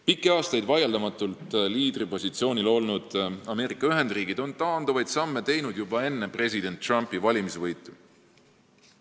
Pikki aastaid vaieldamatul liidripositsioonil olnud Ameerika Ühendriigid tegid taanduvaid samme juba enne president Trumpi valimisvõitu.